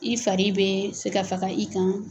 I fari bɛ se ka faga i kan.